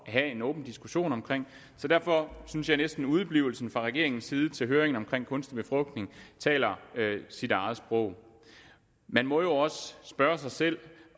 have en åben diskussion om så derfor synes jeg næsten at udeblivelsen fra regeringens side til høringen om kunstig befrugtning taler sit eget sprog man må jo også spørge sig selv